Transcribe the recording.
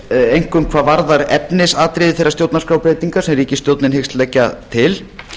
einkum hvað varðar efnisatriði þeirra stjórnarskrárbreytinga sem ríkisstjórnin hyggst leggja til